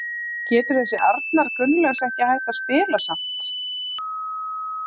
Getur þessi Arnar Gunnlaugs ekki hætt að spila samt?